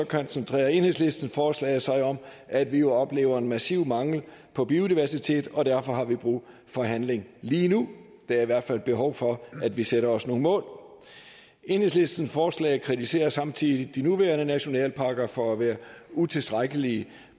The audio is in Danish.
koncentrerer enhedslistens forslag sig om at vi jo oplever en massiv mangel på biodiversitet og derfor har vi brug for handling lige nu der er i hvert fald behov for at vi sætter os nogle mål enhedslistens forslag kritiserer samtidig de nuværende nationalparker for at være utilstrækkelige